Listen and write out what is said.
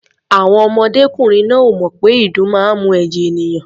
Àwọn ọmọdékùnrin náà ò mọ̀ pé ìdun máa ń mu ẹ̀jẹ̀ ènìyàn.